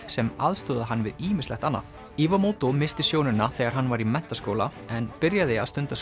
sem aðstoðaði hann við ýmislegt annað missti sjónina þegar hann var í menntaskóla en byrjaði að stunda